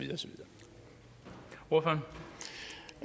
og